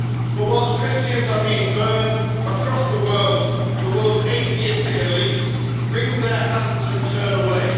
But whilst Christians are being burned across the world, the world's atheistic elites wring their hands and turn away.